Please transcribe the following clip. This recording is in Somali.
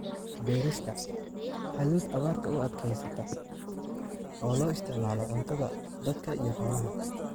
Beerista: Hadhuudh abaarta u adkeysata oo loo isticmaalo cuntada dadka iyo xoolaha.